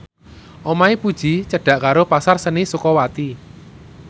omahe Puji cedhak karo Pasar Seni Sukawati